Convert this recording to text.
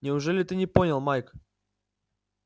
неужели ты не понял майк